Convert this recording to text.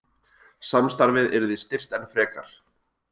Samstarfið yrði styrkt enn frekar